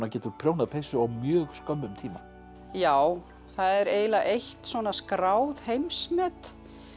getur prjónað peysu á mjög skömmum tíma já það er eiginlega eitt svona skráð heimsmet